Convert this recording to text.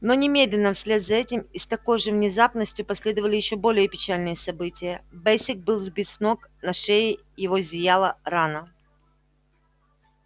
но немедленно вслед за этим и с такой же внезапностью последовали ещё более печальные события бэсик был сбит с ног на шее его зияла рана